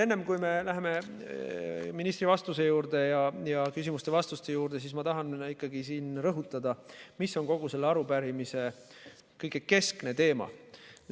Enne, kui me läheme ministri vastuste juurde, ma tahan siin rõhutada, mis on kogu selle arupärimise keskne teema.